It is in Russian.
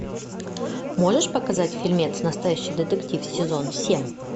можешь показать фильмец настоящий детектив сезон семь